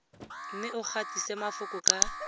mme o gatise mafoko ka